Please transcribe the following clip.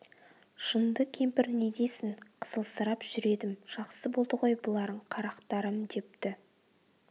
жынды кемпір не десін қызылсырап жүр едім жақсы болды ғой бұларың қарақтарым депті